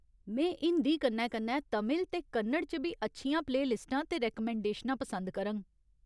में हिंदी कन्नै कन्नै तमिल ते कन्नड़ च बी अच्छियां प्ले लिस्टां ते रैकमैंडेशनां पसंद करङ।